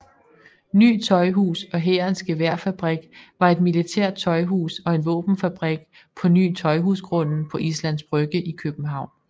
Ny Tøjhus og Hærens Geværfabrik var et militært tøjhus og en våbenfabrik på Ny Tøjhusgrunden på Islands Brygge i København